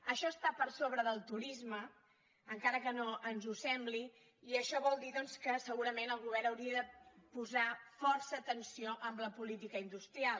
això està per sobre del turisme encara que no ens ho sembli i això vol dir doncs que segurament el govern hauria de posar força atenció en la política industrial